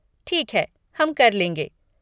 ठीक है, हम कर लेंगे।